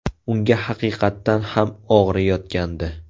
Unga haqiqatan ham og‘riyotgandi.